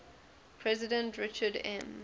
president richard m